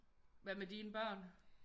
Hvad med dine børn?